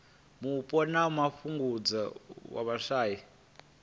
mupo na u fhungudza vhushai